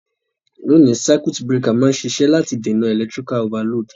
Loni, circuit breaker ma n sisẹ́ láti dènàn electrical overload